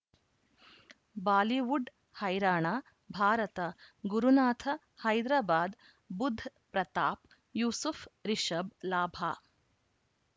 Bollywood ಹೈರಾಣ ಭಾರತ ಗುರುನಾಥ ಹೈದರಾಬಾದ್ ಬುಧ್ ಪ್ರತಾಪ್ ಯೂಸುಫ್ ರಿಷಬ್ ಲಾಭ